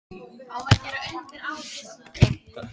Hann þekkir ekki það sem ég ætla að sýna honum.